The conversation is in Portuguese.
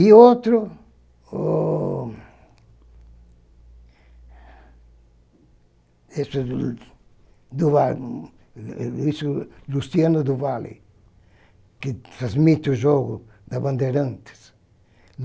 E outro o... do lado, Lucio, Luciano do Valle, que transmite o jogo da Bandeirantes.